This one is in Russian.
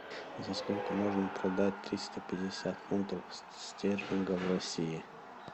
за сколько можно продать триста пятьдесят фунтов стерлингов в россии